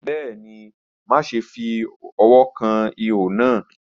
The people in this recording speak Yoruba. Bẹẹni, maṣe fi ọwọ kan iho naa.